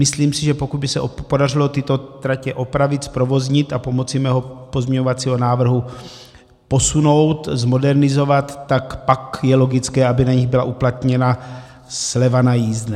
Myslím si, že pokud by se podařilo tyto tratě opravit, zprovoznit a pomocí mého pozměňovacího návrhu posunout, zmodernizovat, tak pak je logické, aby na nich byla uplatněna sleva na jízdném.